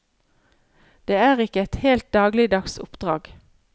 Det er ikke et helt dagligdags oppdrag.